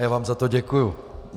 A já vám za to děkuju.